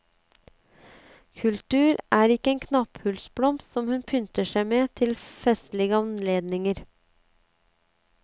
Kultur er ikke en knapphullsblomst som hun pynter seg med til festlige anledninger.